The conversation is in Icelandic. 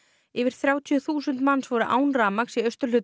yfir þrjátíu þúsund manns voru án rafmagns í austurhluta